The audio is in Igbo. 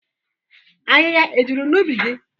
Ahịhịa e juru n'ubi gị?